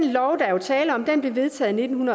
tale om blev vedtaget i nitten